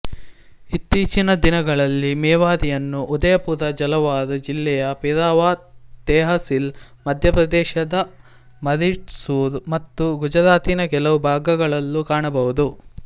ಇತ್ತೀಚಿನ ದಿನಗಳಲ್ಲಿ ಮೇವಾರಿಯನ್ನು ಉದಯಪುರ ಜಲವಾರ್ ಜಿಲ್ಲೆಯ ಪಿರಾವಾ ತೆಹಸಿಲ್ ಮಧ್ಯಪ್ರದೇಶದ ಮರಿಡ್ಸೂರ್ ಮತ್ತು ಗುಜರಾತಿನ ಕೆಲವು ಭಾಗಗಳಲ್ಲೂ ಕಾಣಬಹುದು